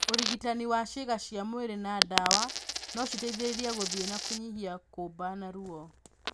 Ũrĩgitani wa ciĩga cia mwĩrĩ na ndawa no citeithĩrĩrie gũthiĩ na kũnyihia kuumba na ruo.